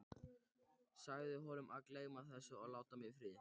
Sagði honum að gleyma þessu og láta mig í friði.